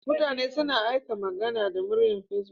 Mutane suna aika magana da murya Facebook.